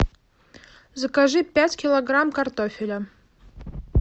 закажи пять килограмм картофеля